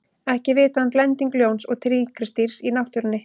ekki er vitað um blending ljóns og tígrisdýrs í náttúrunni